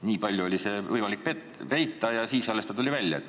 Nii kaua oli võimalik seda peita ja alles siis tuli see välja.